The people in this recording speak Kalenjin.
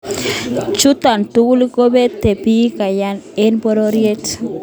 Chuto tugul kobete bik kayanet eng pororiet